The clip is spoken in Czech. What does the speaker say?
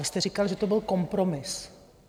Vy jste říkal, že to byl kompromis.